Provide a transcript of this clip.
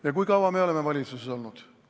Ja kui kaua meie oleme valitsuses olnud?